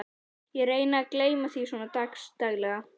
Ég reyni að gleyma því svona dags daglega.